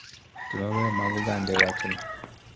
Timbe mabeyo mag oganda e wachni